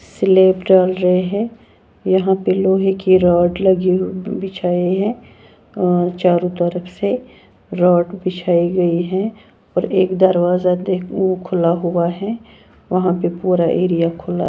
celeb डाल रहे हैं यहां पे लोहे की रॉड लगी हुई बिछाए हैं और चारों तरफ से रॉड बिछाई गई है और एक दरवाजा देख वो खुला हुआ है वहां पे पूरा एरिया --